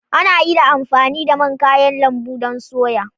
Ana iya amfani da man kayan lambu don soya.